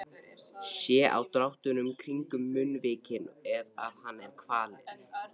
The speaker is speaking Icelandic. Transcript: Sé á dráttunum kringum munnvikin að hann er kvalinn.